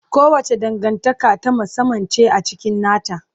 Kowace dangantaka ta musamman ce a cikin nata.